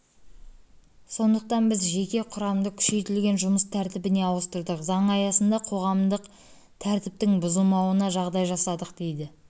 сондықтан біз жеке құрамды күшейтілген жұмыс тәртібіне ауыстырдық заң аясында қоғамдық тәртіптің бұзылмауына жағдай жасадық дейді